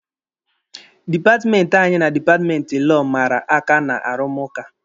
Dipatmenti anyị na dipatmenti Lọọ mara aka n'arụmụka.